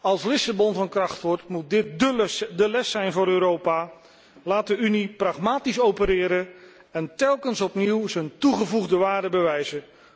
Als Lissabon van kracht wordt, moet dit de les zijn voor Europa laat de Unie pragmatisch opereren en telkens opnieuw zijn toegevoegde waarde bewijzen.